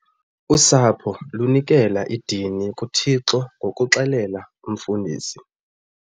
Usapho lunikela idini kuThixo ngokuxhelela umfundisi.